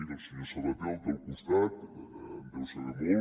miri el senyor sabaté el té al costat en deu saber molt